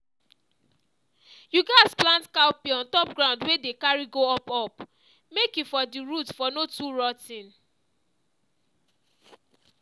you gats plant cowpea on top ground wey dey carry go up up make e for the root for no too rot ten